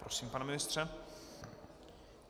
Prosím, pane ministře.